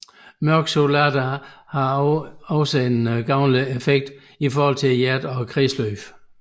Mørk chokolade har også en gavnlig effekt i forhold til hjertet og kredsløbet